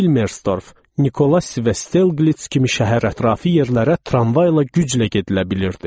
Vilmerstorf, Nikolay Si və Stelqlits kimi şəhər ətrafı yerlərə tramvayla güclə gedilə bilirdi.